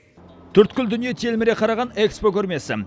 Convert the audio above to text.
төрткүл дүние телміре қараған экспо көрмесі